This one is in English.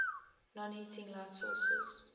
non heating light sources